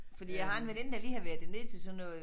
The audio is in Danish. Fordi jeg har en veninde der lige har været dernede til sådan noget